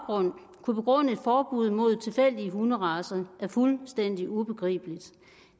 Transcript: kunne begrunde et forbud mod tilfældige hunderacer er fuldstændig ubegribeligt